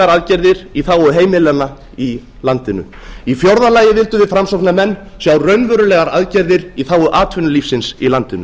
aðgerðir í þágu heimilanna í landinu í fjórða lagi vildum við framsóknarmenn sjá raunverulegar aðgerðir í þágu atvinnulífisins í landinu